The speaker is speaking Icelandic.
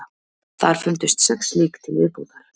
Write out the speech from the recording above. Þar fundust sex lík til viðbótar